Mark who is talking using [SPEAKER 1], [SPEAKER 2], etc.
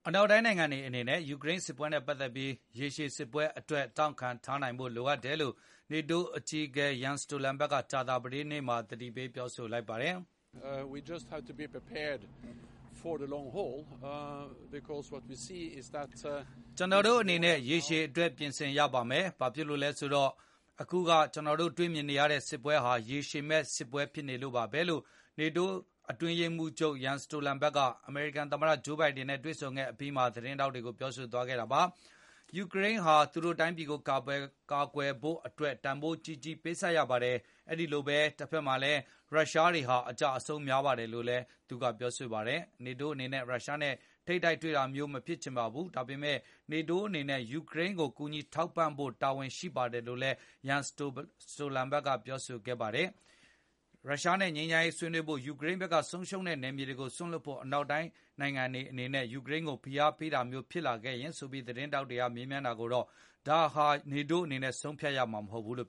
[SPEAKER 1] အနောက်တိုင်းနိုင်ငံတွေအနေနဲ့ ယူကရိန်းစစ်ပွဲနဲ့ ပတ်သက်ပြီး ရေရှည်စစ်ပွဲအတွက် တောင်ခံထားနိုင်ဖို့ လိုအပ်တယ်လို့ NATO အကြီးအကဲ Jen Stolenberg က ကြာသပတေးနေ့ က သတိပေးလိုက်ပါတယ်။
[SPEAKER 2] “
[SPEAKER 1] ကျနော်တို့ အနေနဲ့ ရေရှည်အတွက် ပြင်ဆင်ရပါမယ်။ ဘာဖြစ်လို့လဲဆိုတော့ အခုက ကျနော်တို့ တွေ့မြင်နေရတဲ့ စစ်ပွဲဟာ ရေရှည်မယ့်စစ်ပွဲဖြစ်နေလို့ပါဘဲ။” လို့ NATO ရဲ့ အတွင်းရေး က အမေရိကန်သမ္မတ Joe Biden နဲ့တွေ့ဆုံခဲ့အပြီးမှာ သတင်းထောက်တွေကို ပြောဆိုသွားခဲ့တာပါ။ ယူကရိန်းဟာ သူတို့တိုင်းပြည်ကို ကာကွယ်ဖို့အတွက် တန်ဘိုးကြီးကြီးပေးဆပ်ရပါတယ်။ အဲလိုပဲ တဘက်မှာလည်း ရုရှားတွေဟာ အကျအဆုံးများပါတယ်လို့လည်း သူကပြောဆိုပါတယ်။ NATO အနေနဲ့ ရုရှားနဲ့ တိုက်ရိုက်ထိပ်တိုက်တွေ့ တာမျိုးမဖြစ်ချင်ပါဘူး။ ဒါပေမယ့် NATO အနေနဲ့ ယူကရိန်းကို ကူညီထောက်ပံ့ဖိုတာဝန်ရှိပါတယ်လို့လည်း Jen Stolenberg ကပြောဆိုပါတယ်။ ရုရှားနဲ့ ငြိမ်းချမ်းရေး ဆွေးနွေးနိုင်ဖို့ ယူကရိန်းဘက်က ဆုံးရှုံးထားတဲ့ နယ်မြေတွေကို စွန့်လွှတ်ဖို့ အနောက်တိုင်းနိုင်ငံတွေအနေနဲ့ ယူကရိန်းကို ဖိအားပေးတာမျိုးဖြစ်လာခဲ့ရင်ဆိုပြီး သတင်းထောက်တွေကမေးမြန်းတာကိုတော့ ယူကရိန်းအနေနဲ့ ဘာကိုလက်ခံသင်တယ်၊ လက်မခံသင့်ဘူးဆိုတာကို ကျနော်တို့ အနေနဲ့ ဆုံးဖြတ်ပေးရမှာမဟုတ်ပါဘူးလို့